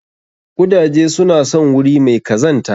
Ƙudaje suna son wuri mai kazanta.